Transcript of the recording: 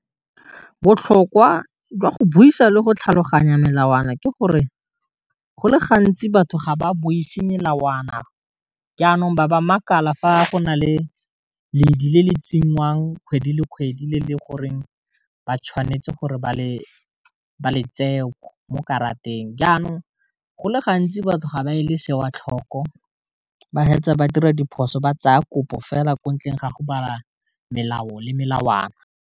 Botlhokwa jwa go buisa le go tlhaloganya melawana ke gore, go le gantsi batho ga ba buise melawana, jaanong ba ba makala fa go na le ledi le le tsenngwang kgwedi le kgwedi le leng gore ba tshwanetse gore ba le tsee mo karateng, jaanong go le gantsi batho ga ba e le se wa tlhoko, ba hetsa ba dira diphoso ba tsaya kopo fela ko ntleng ga go bala melao le melawana.